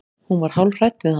Hún var hálf hrædd við hann.